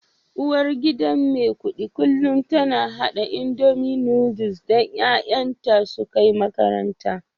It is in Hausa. Uwargidan Maikudi kullum tana hada indomie Noodles don 'ya'yanta su kai makaranta